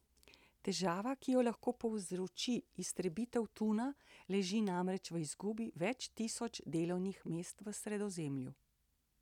Težava, ki jo lahko povzroči iztrebitev tuna, leži namreč v izgubi več tisoč delovnih mest v Sredozemlju.